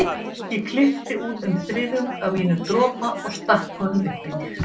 Ég klippti út um þriðjung af mínum dropa og stakk honum upp í mig.